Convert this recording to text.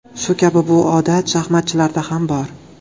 Shu kabi bu odat shaxmatchilarda ham bor.